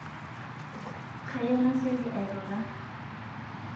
kayieu nasioki airura